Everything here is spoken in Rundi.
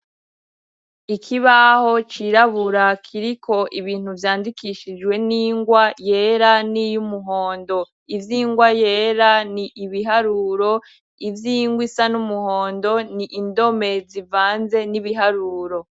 Ikibaho cirabura kiriko ibintu vyandikishijwe n'ingwa yera, n'iy umuhondo. Ivy'ingwa yera n'ibiharuro, ivy'ingwa isa n'umuhondo n'indome zivanze n'ibiharuro.